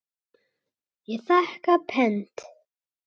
Ég þakka pent.